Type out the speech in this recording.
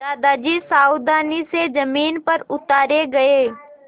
दादाजी सावधानी से ज़मीन पर उतारे गए